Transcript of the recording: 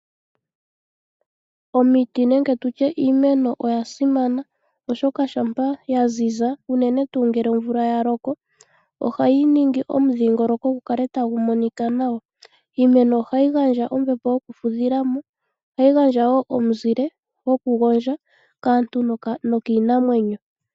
Omiti nenge iimeno oya simana oshoka ngele omvula ya loka ohayi kala ya ziza nawa noku etitha omudhingoloko gu kale tagu monika nawa. Iimeno ohayi gandja ombepo yokufudhila mo nosho woo omuzile gokugondjwa kaantu nokiinamwenyo.